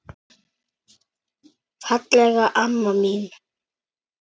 Fallega amma mín.